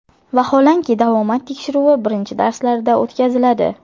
Vaholanki, davomat tekshiruvi birinchi darslarda o‘tkaziladi.